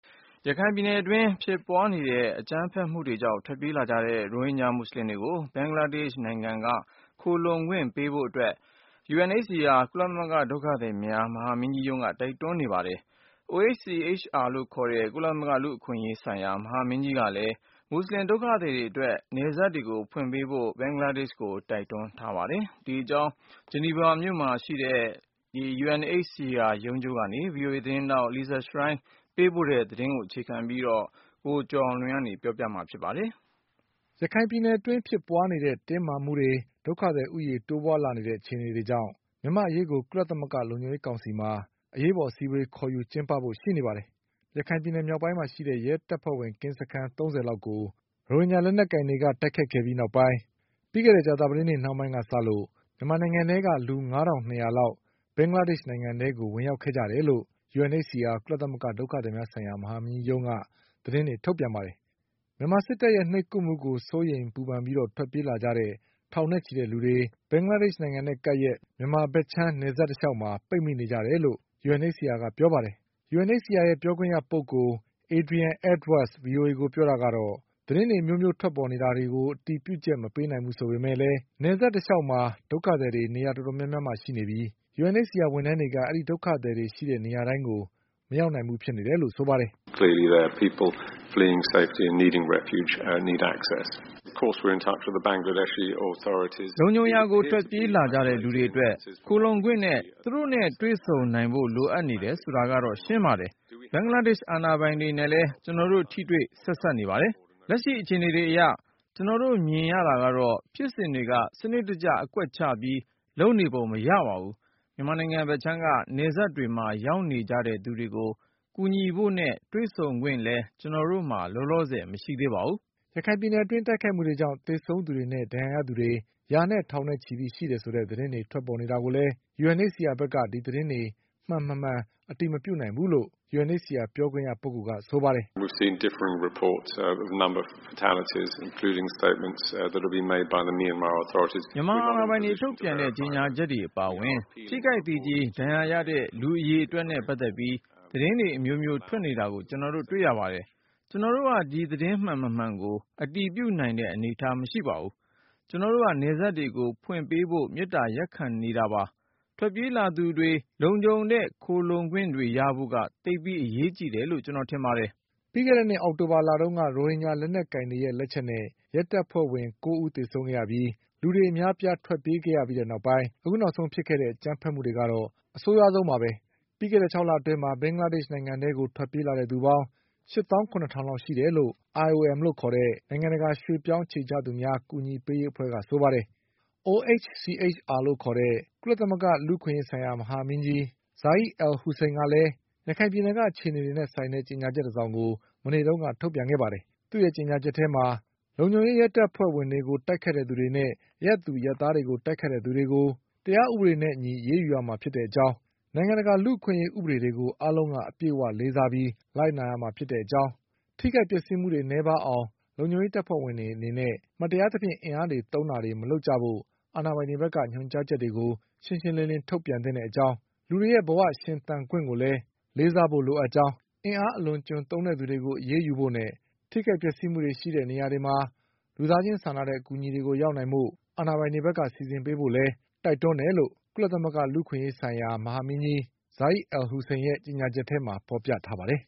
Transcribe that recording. ရခိုင်ပြည်နယ်အတွင်း ဖြစ်ပွါးနေတဲ့ အကြမ်းဖက်မှုတွေကြောင့် ထွက်ပြေးလာကြတဲ့ ရိုဟင်ဂျာ မူဆလင်တွေကို ဘင်္ဂလားဒေ့ချ် နိုင်ငံက ခိုလှုံခွင့် ပေးဖို့ UNHCR ကုလသမဂ္ဂ ဒုက္ခသည်များ ဆိုင်ရာ မဟာမင်းကြီးရုံးက တိုက်တွန်း နေပါတယ်။ OHCHR လို့ ခေါ်တဲ့ ကုလသမဂ္ဂ လူ့အခွင့်အရေး ဆိုင်ရာ မဟာမင်းကြီး ကလည်း မူဆလင် ဒုက္ခသည်တွေ အတွက် နယ်စပ်တွေကို ဖွင့်ပေးဖို့ ဘင်္ဂလားဒေ့ချ်ကို တိုက်တွန်း နေပါတယ်။ ဒီအကြောင်း ဆွစ်ဇာလန်နိုင်ငံ ဂျီနီဗာမြို့မှာ ရှိတဲ့ UNHCR ရုံးချုပ်ကနေ VOA သတင်းထောက် Lisa Schlein သတင်းပေးပို့ ထားတာကို အခြေခံပြီး ကုလသမဂ္ဂ အသိုင်းအဝိုင်းက ပြောဆိုချက်တွေကို ကိုကျော်အောင်လွင် စုစည်း တင်ပြပါလိမ့်မယ်။ ရခိုင်ပြည်နယ် အတွင်း ဖြစ်ပွါးနေတဲ့ တင်းမာမှုတွေ၊ ဒုက္ခသည် ဦးရေ တိုးပွါးလာနေတဲ့ အခြေအနေတွေကြောင့် မြန်မာ့အရေးကို ကုလသမဂ္ဂ လုံခြုံရေး ကောင်စီမှာ ဒီကနေ့ သြဂုတ်လ ၃၀ ရက်နေ့ ကျရင် အရေးပေါ် အစည်းအဝေး ခေါ်ယူကျင်းပဖို့ ရှိနေပါတယ်။ ရခိုင်ပြည်နယ် မြောက်ပိုင်းမှာ ရှိတဲ့ ရဲတပ်ဖွဲ့ဝင် ကင်းစခန်း ၃၀ လောက်ကို ရိုဟင်ဂျာ လက်နက်ကိုင်တွေက တိုက်ခိုက်ခဲ့ပြီး နောက်ပိုင်း ပြီးခဲ့တဲ့ ကြာသပတေးနေ့ နှောင်းပိုင်းက စလို့မြန်မာနိုင်ငံ ထဲက လူ ၅ ထောင့်၂ ရာလောက် ဘင်္ဂလားဒေ့ချ်နိုင်ငံ ထဲကို ဝင်ရောက်ခဲ့ကြတယ်လို့ UNHCR ကုလသမဂ္ဂ ဒုက္ခသည်များ ဆိုင်ရာ မဟာမင်းကြီးရုံးက သတင်း တွေ ထုတ်ပြန်ပါတယ်။ မြန်မာစစ်တပ်ရဲ့ နှိပ်ကွပ်မှုကို စိုးရိမ်ပူပန်ပြီး ထွက်ပြေးလာကြတဲ့ ထောင်နဲ့ချီတဲ့ လူတွေ ဘင်္ဂလားဒေ့ချ် နိုင်ငံနဲ့ ကပ်လျက် မြန်မာဘက်ခြမ်း နယ်စပ် တလျှောက်မှာ ပိတ်မိနေကြတယ်လို့ UNHCR က ပြောပါတယ်။ UNHCR ပြောခွင့်ရ ပုဂ္ဂိုလ် Adrian Edwards က VOAကို ပြောတာကတော့ သတင်းတွေ အမျိုးမျိုး ထွက်ပေါ်နေတာ တွေကို အတည်ပြုချက် မပေးနိုင်ဘူး ဆိုပေမဲ့ နယ်စပ် တလျှောက်မှာ ဒုက္ခသည်တွေ နေရာ တော်တော်များများမှာ ရှိနေပြီး UNHCR ဝန်ထမ်းတွေက ဒုက္ခသည်တွေ ရှိတဲ့နေရာတိုင်းကို မရောက်နိုင်ဘူးလို့ ဆိုပါတယ်။ “ လုံခြုံရာကို ထွက်ပြေးလာကြတဲ့ လူတွေအတွက် ခုံလှုံခွင့်နဲ့ သူတို့နဲ့ တွေ့ဆုံနိုင်ဖို့တွေ လိုအပ်နေတယ် ဆိုတာကတော့ ရှင်းပါတယ်။ဘင်္ဂလားဒေ့ချ် အာဏာပိုင်တွေ နဲ့လည်း ကျနော်တို့ ထိတွေ့ ဆက်စပ် နေပါတယ်။ လက်ရှိ အခြေအနေတွေ အရ ကျနော်တို့ မြင်ရတာကတော့ ဖြစ်စဉ်တွေက စနစ်တကျ အကွက်ချပြီး လုပ်နေပုံ မရပါဘူး။ မြန်မာနိုင်ငံ ဘက်ခြမ်းက နယ်စပ်တွေမှာ ရောက်နေကြတဲ့ သူတွေကို ကူညီဖို့နဲ့ တွေ့ဆုံခွင့်လည်း ကျနော်တို့မှာ လောလောဆယ် မရှိသေးပါဘူး။ ” ရခိုင်ပြည်နယ် အတွင်း တိုက်ခိုက်မှုတွေကြောင့် သေဆုံးသူတွေနဲ့ ဒဏ်ရာရသူတွေ ရာနဲ့ထောင်နဲ့ချီပြီး ရှိတယ်ဆိုတဲ့ သတင်းတွေ ထွက်ပေါ်နေတာကိုလည်း UNHCR က ဒီသတင်းတွေ မှန်၊ မမှန် အတည်မပြုနိုင်ဘူးလို့ UNHCR ပြောခွင့်ရ က ဆိုပါတယ်။ "မြန်မာအာဏာပိုင်တွေ ထုတ်ပြန်တဲ့ ကြေညာချက်တွေ အပါအဝင် ထိခိုက်သေကျေ ဒဏ်ရာရတဲ့ လူအရေအတွက်နဲ့ပတ်သက်ပြီး သတင်းတွေ အမျိုးမျိုး ထွက်နေတာကို ကျနော်တို့ တွေ့ရပါတယ်။ ကျနော်တို့က ဒီသတင်းတွေမှန် မမှန် ကို အတည်ပြုနိုင်တဲ့ အနေအထား မရှိပါဘူး။ ကျနော်တို့က နယ်စပ်တွေကို ဖွင့်ပေးဖို့ မေတ္တာရပ်ခံ နေတာပါ။ ထွက်ပြေး လာသူတွေ လုံခြုံတဲ့ ခိုလှုံခွင့်တွေ ရဖို့က သိပ်ပြီး အရေးကြီးတယ်လို့ ကျနော်တို့ထင်ပါတယ်” ပြီးခဲ့တဲ့နှစ် အောက်တိုဘာလ တုန်းက ရိုဟင်ဂျာ လက်နက်ကိုင်တွေရဲ့ လက်ချက်နဲ့ ရဲတပ်ဖွဲ့ဝင် ၉ ဦး သေဆုံးခဲ့ရပြီး လူတွေ အများအပြား ထွက်ပြေးခဲ့ရပြီးတဲ့ နောက်ပိုင်း အခုဖြစ်ခဲ့တဲ့ အကြမ်းဘက်မှုတွေ ကတော့ အဆိုးဆုံးပါပဲ။ လွန်ခဲ့တဲ့ ၆ လအတွင်းမှာ ဘင်္ဂလားဒေ့ချ် နိုင်ငံထဲကို ထွက်ပြေးလာတဲ့ သူပေါင်း ၈သောင်း၇ထောင်လောက် ရှိတယ်လို့ IOM နိုင်ငံ တကာ ရွှေ့ပြောင်း အခြေချသူများ အကူအညီပေးရေး အဖွဲ့က ဆိုပါတယ်။ OHCHR လို့ ခေါ်တဲ့ ကုလသမဂ္ဂ လူ့အခွင့်အရေးဆိုင်ရာ မဟာမင်းကြီး Zeid Ra’ad al’ Hussein ကလည်း ရခိုင်ပြည်နယ်က အခြေအနေတွေနဲ့ ဆိုင်တဲ့ ကြေညာချက် တစောင်ကို မနေ့က ထုတ်ပြန်ခဲ့ပါတယ်။ အဲဒီ ကြေညာချက်ထဲမှာ လုံခြုံရေး ရဲတပ်ဖွဲ့ဝင်တွေကို တိုက်ခိုက်ခဲ့သူတွေနဲ့ အရပ်သူ အရပ်သားတွေ ကို တိုက်ခိုက်ခဲ့သူတွေကို တရားဥပဒေနဲ့ အညီ အရေးယူရမှာ ဖြစ်ကြောင်း နိုင်ငံတကာ လူ့အခွင့်အရေး ဥပဒေတွေကို အားလုံးက အပြည့်အ၀ လေးစားပြီး လိုက်နာရမှာဖြစ် ကြောင်း၊ ထိခိုက်ပျက်စီးမှုတွေ နည်းပါးအောင် လုံခြုံရေး တပ်ဖွဲ့ဝင်တွေ အနေနဲ့ မတရားသဖြင့် အင်အားသုံးတာတွေ မလုပ်ကြဖို့ အာဏာပိုင်တွေ ဘက်က ညွှန်ကြားချက်တွေ ရှင်းရှင်းလင်းလင်း ထုတ်ပြန်သင့်တဲ့ အကြောင်း၊ လူတွေရဲ့ ဘဝနဲ့ အသက်ရှင် သန်ခွင့် ကိုလည်း လေးစားဖို့လိုကြောင်း၊ အင်အား အလွန်အကျွံသုံးတဲ့ သူတွေကို အရေးယူဖို့နဲ့ ထိခိုက်မှုတွေ ဖြစ်ပွါးတဲ့ နေရာတွေမှာ လူသားချင်း စာနာတဲ့ အကူအညီတွေ ရောက်နိုင်ဖို့ အာဏာပိုင်တွေက စီစဉ်ပေးဖို့လည်း တိုက်တွန်းတယ် လို့ ကုလသမဂ္ဂ လူ့အခွင့်အရေး ဆိုင်ရာ မဟာမင်းကြီး Zeid Ra’ad al’ Hussein ရဲ့ကြေညာချက်ထဲမှာ ဖေါ်ပြထားပါတယ်